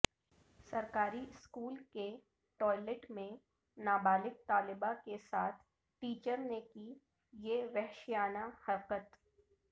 سرکاری اسکول کے ٹوائلیٹ میں نابالغ طالبہ کے ساتھ ٹیچر نے کی یہ وحشیانہ حرکت